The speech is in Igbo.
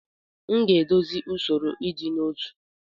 M ga-edozi usoro ịdị n'otu.